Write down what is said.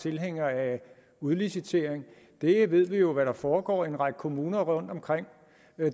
tilhængere af udlicitering der ved vi jo hvad der foregår i en række kommuner rundtomkring